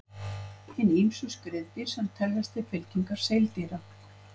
Hin ýmsu skriðdýr sem teljast til fylkingar seildýra.